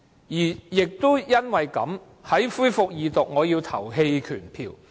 因此，在《條例草案》恢復二讀時，我要投棄權票。